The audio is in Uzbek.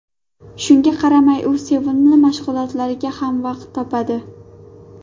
Shunga qaramay, u sevimli mashg‘ulotlariga ham vaqt topadi.